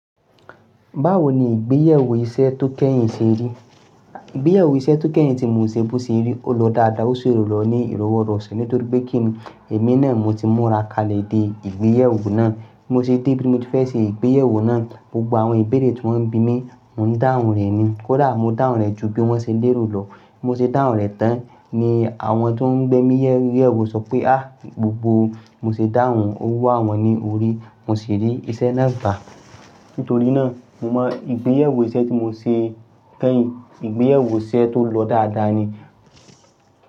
Báwo ni ìgbéyewó iṣẹ́ tó kẹ́yìn ṣe rí? Ìgbéyewó iṣẹ́ tó kẹ́yìn tí mo ṣe bú sí rí, ó lọ dáadáa, ó sì rù lọ ní ìrọwọ́rọṣọ nítorí pé kí ẹ̀mí náà mo ti múra kalẹ̀ dé ìgbéyewó náà. Mo se de bí mo ti fẹ́ ṣe ìgbéyewó náà, gbogbo àwọn ìbéèrè tí wọ́n ń bí mi, mò ń dáhùn rẹ̀ ni. Kódà mo dáhùn rẹ̀ ju bí wọ́n ṣe lérò lọ, mo sì dáhùn rẹ̀ tán ni àwọn tó ń gbé mi yẹ ìgbéyewó sọ pé "a, gbogbo mo ṣe dáhùn owu àwọn ni o rí." Mo sì rí iṣẹ́ náà gbà. Nítorí náà, mo mọ ìgbéyàwó iṣẹ́ tí mo ṣe kẹ́yìn, ìgbéyàwó iṣẹ́ tó lọ dáadáa ni.